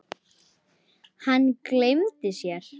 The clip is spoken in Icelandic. Hann gleymdi sér.